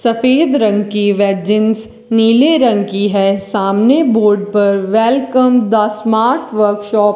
सफेद रंग की वे जींस नीले रंग की हैं सामने बोर्ड पर वेलकम द स्मार्ट वर्कशॉप --